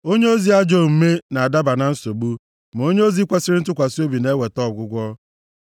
Onyeozi ajọ omume na-adaba na nsogbu, ma onyeozi kwesiri ntụkwasị obi na-eweta ọgwụgwọ.